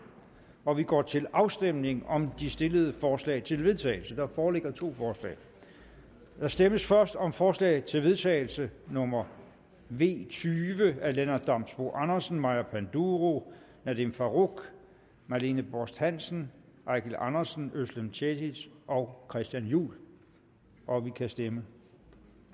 og vi går til afstemning om de stillede forslag til vedtagelse der foreligger to forslag der stemmes først om forslag til vedtagelse nummer v tyve af lennart damsbo andersen maja panduro nadeem farooq marlene borst hansen eigil andersen özlem cekic og christian juhl og der kan stemmes